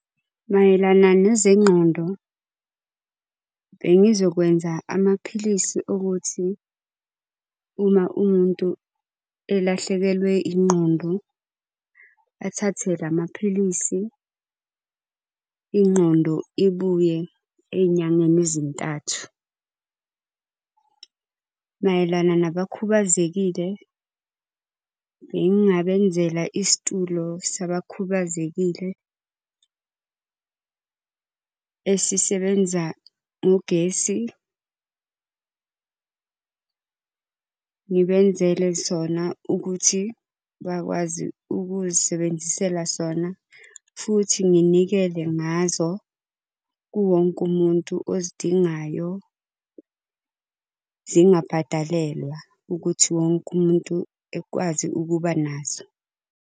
Mayelana nezengqondo, bengizokwenza amaphilisi okuthi uma umuntu elahlekelwe ingqondo athathe lamaphilisi ingqondo ibuye ey'nyangeni ezintathu. Mayelana nabakhubazekile, bengingabenzela isitulo sabakhubazekile esisebenza ngogesi. Ngibenzele sona ukuthi bakwazi ukuzisebenzisela sona, futhi nginikele ngazo kuwo wonke umuntu ozidingayo, zingabhadalelwa ukuthi wonke umuntu akwazi ukuba naso.